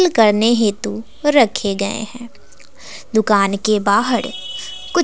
करने हेतु रखे गए है दुकान के बाहर कु--